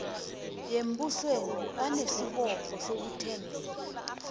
yembusweni banesibopho sokuthambela